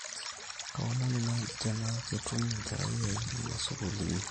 kaomonu naaji tenaa ketum enkerai aai ena sukuul inyi